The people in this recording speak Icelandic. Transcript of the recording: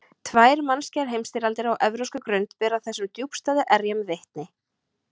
Tvær mannskæðar heimsstyrjaldir á evrópskri grund bera þessum djúpstæðu erjum vitni.